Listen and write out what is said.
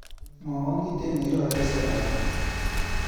Mwawa kiptin nekiraye sarari.